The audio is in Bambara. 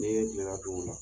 Ni ye kilela la dun o la